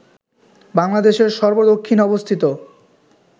বাংলাদেশের সর্ব দক্ষিণে অবস্থিত